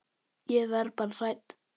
Ég verð bara hrædd.